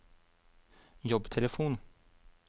jobbtelefon